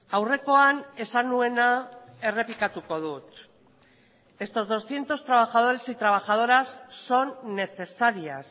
aurrekoan esan nuena errepikatuko dut estos doscientos trabajadores y trabajadoras son necesarias